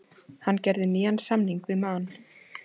Hann gerði nýjan samning við Man.